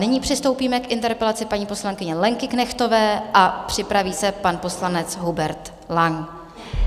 Nyní přistoupíme k interpelaci paní poslankyně Lenky Knechtové a připraví se pan poslanec Hubert Lang.